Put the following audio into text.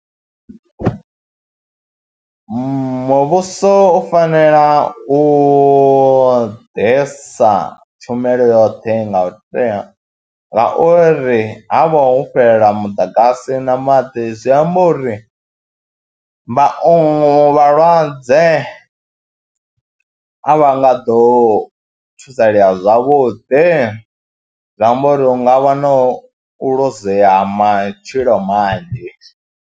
Muvhuso u fanela u ḓisa tshumelo yoṱhe nga tea ngauri ha vha ho fhelela muḓagasi na maḓi zwi amba uri vhaongi vhalwadze a vha nga ḓo thusalea zwavhuḓi, zwi amba uri hu nga vha na u luzea ha matshilo manzhi.